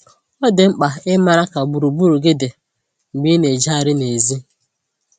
Ọ dị mkpa ịmara ka gburugburu gị dị mgbe ị na-ejegharị nèzí